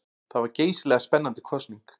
Það var geysilega spennandi kosning.